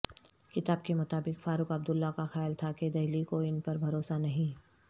کتاب کے مطابق فاروق عبداللہ کا خیال تھا کہ دہلی کو ان پر بھروسہ نہیں